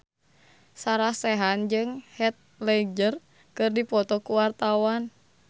Sarah Sechan jeung Heath Ledger keur dipoto ku wartawan